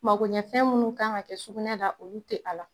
Makoɲɛnfɛn minnu ka kan ka kɛ sukunɛ la olu tɛ a la.